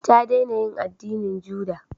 Ta dena yin addinin juda